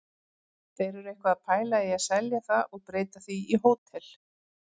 Þeir eru eitthvað að pæla í að selja það og breyta því í hótel.